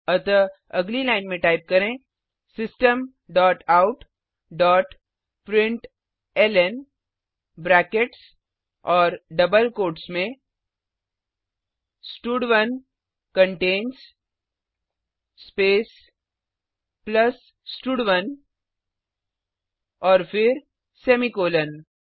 अतः अगली line type करें system dot out dot println brackets और डबल कोट्स में स्टड1 कंटेन्स स्पेस प्लस स्टड1 और फिर सेमीकॉलन